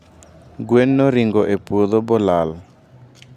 gwen noringo e puodho bolala